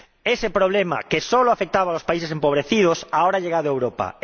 Ese problema, que solo afectaba a los países empobrecidos, ahora ha llegado a Europa.